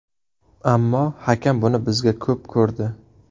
Ammo hakam buni bizga ko‘p ko‘rdi.